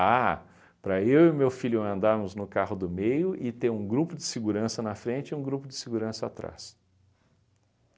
para eu e meu filho andarmos no carro do meio e ter um grupo de segurança na frente e um grupo de segurança atrás.